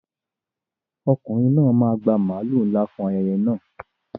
Ọkùnrin náà máa gba màlúù ńlá tó sanra fún ayẹyẹ náà.